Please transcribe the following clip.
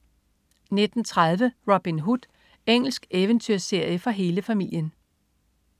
19.30 Robin Hood. Engelsk eventyrserie for hele familien